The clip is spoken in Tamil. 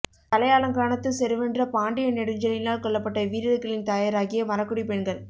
தலையாலங்கானத்துச் செருவென்ற பாண்டிய நெடுஞ்செழியனால் கொள்ளப்பட்ட வீரர்களின் தாயராகிய மறக்குடிப் பெண்கள்